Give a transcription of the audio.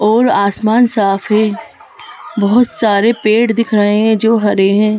और आसमान साफ है बहोत सारे पेड़ दिख रहे हैं जो हरे हैं।